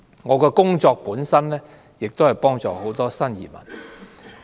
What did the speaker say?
我的工作本身是幫助新移民。